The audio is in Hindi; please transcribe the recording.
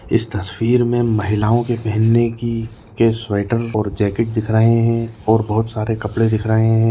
इस तस्वीर मे महिलाओ के पहनने की के स्वेटर और जेकेट दिख रहे है और बहोत सारे कपड़े दिख रहे है।